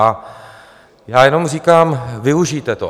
A já jenom říkám, využijte to.